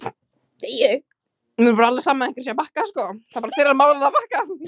Upphitunin og þá sérstaklega að bakka, hvað er málið með það!?!?